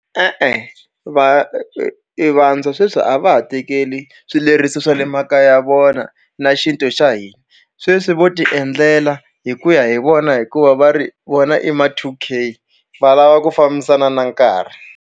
E-e va e vantshwa sweswi a va ha tekeli swileriso swa le makaya ya vona na xintu xa hina sweswi vo tiendlela hi ku ya hi vona hikuva va ri vona i ma two K va lava ku fambisana na nkarhi.